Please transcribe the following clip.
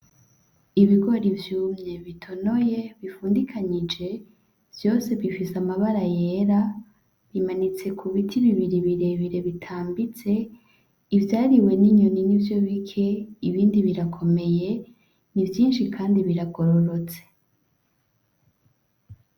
Ibigori vyumye bitonoye bipfundikanije vyose bifise amabara yera, bimanitse ku biti bibiri birebire bitambitse, ivyariwe n'inyoni nivyo bike ibindi birakomeye, ni vyinshi kandi biragororotse.